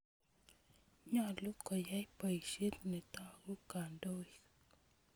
Nyalu koyai poisyet netogu kandoik